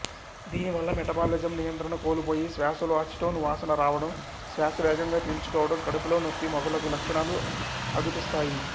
దీనివల్ల మెటబాలిసమ్ నియంత్రణ కోల్పోయి శ్వాశలో అసిటోన్ వాసన రావడం శ్వాశవేగంగా పీల్చుకోవడం కడుపులో నొప్పి మొదలగు లక్షణాలు అగుపిస్తాయి